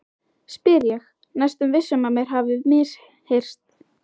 spyr ég, næstum viss um mér hafi misheyrst.